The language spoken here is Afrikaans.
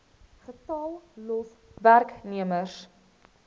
getal los werknemers